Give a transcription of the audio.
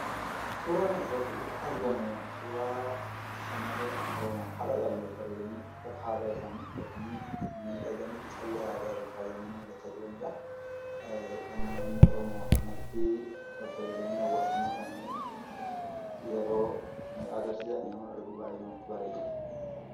Suuraan kanarratti argamu suuraa shamarreen Oromoo haala gaariin babbareedanii uffata aadaa isaanii uffatanii, callee aadaatiin faayamanii jiranidha. Uummanni oromoo akkanatti bareedanii hawaasummaa isaanii yeroo cimsan yommuun argu baay'ee namatti tola.